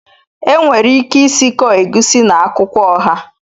Enwere ike isikọ Egusi na akwukwo oha